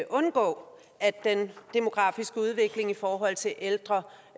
undgå at den demografiske udvikling i forhold til ældre